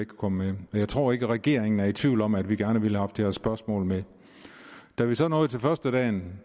kunne komme med jeg tror ikke at regeringen er i tvivl om at vi gerne ville have haft det her spørgsmål med da vi så nåede til førstedagen